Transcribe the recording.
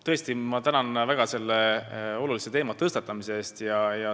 Tõesti, ma tänan väga selle olulise teema tõstatamise eest.